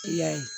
I y'a ye